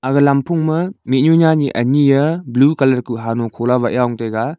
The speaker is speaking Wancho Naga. aga lamphong ma mihnyu nya ni ani ablue colour kuh hanho kholah waih yong taiga.